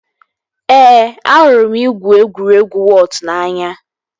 Ee, ahụrụ m igwu egwuregwu wọọt n'anya